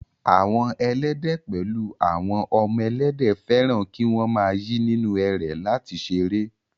Àwọn Ẹlẹ́dẹ̀ pẹ̀lú àwọn ọmọ Ẹlẹ́dẹ̀, fẹ́ràn kí wọ́n máa yí nínú ẹrẹ̀ láti ṣeré